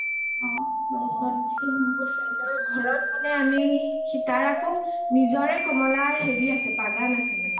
সি মোৰ friend ৰ ঘৰত মানে তাৰ আকৌ নিজৰে কমলা বগান আছে মানে